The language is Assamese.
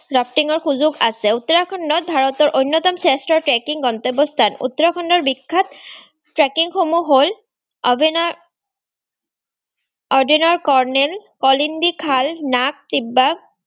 wrafting ৰ সুযোগ আছেও। উত্তৰাখণ্ড ভাৰতৰ অন্যতম শ্ৰেষ্ঠ trekking ৰ গন্তব্য স্থান। উত্তৰাখণ্ডৰ বিখ্যাত trekking সমূহ হ'ল - অডিনৰ কৰ্ণেল, অলিন্দি খাল, নাগ চিকবাক